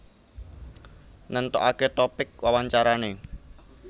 Nentokake topik wawancarane